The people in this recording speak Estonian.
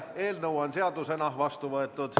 Eelnõu on seadusena vastu võetud.